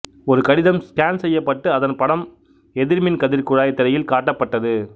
ஒரு கடிதம் ஸ்கேன் செய்யப்பட்டு அதன் படம் எதிர்மின் கதிர் குழாய்திரையில் காட்டப்பட்டது